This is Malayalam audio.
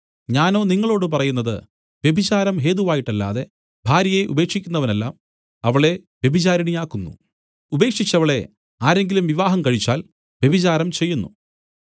ഞാനോ നിങ്ങളോടു പറയുന്നത് വ്യഭിചാരം ഹേതുവായിട്ടല്ലാതെ ഭാര്യയെ ഉപേക്ഷിക്കുന്നവനെല്ലാം അവളെ വ്യഭിചാരിണിയാക്കുന്നു ഉപേക്ഷിച്ചവളെ ആരെങ്കിലും വിവാഹം കഴിച്ചാൽ വ്യഭിചാരം ചെയ്യുന്നു